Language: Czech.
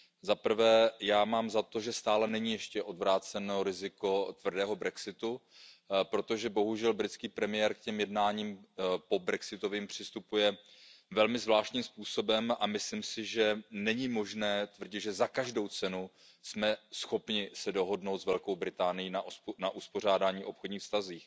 Za prvé, já mám za to, že stále není ještě odvráceno riziko tvrdého brexitu, protože bohužel britský premiér k těm pobrexitovým jednáním přistupuje velmi zvláštním způsobem a myslím si, že není možné tvrdit, že za každou cenu jsme schopni se dohodnout s Velkou Británií na uspořádání obchodních vztahů.